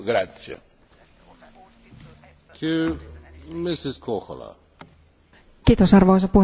Arvoisa puhemies, energiatehokkuusdirektiivin tarkoitus oli hyvä, mutta lopputulos on epäreilu.